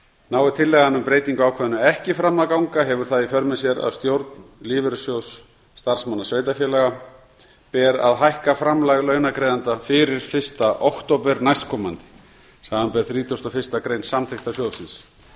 nái tillagan um breytingu á ákvæðinu ekki fram að ganga hefur það í för með sér að stjórn lífeyrissjóðs starfsmanna sveitarfélaga ber að hækka framlag launagreiðenda fyrir fyrsta október næstkomandi samanber þrítugustu og fyrstu grein samþykkta sjóðsins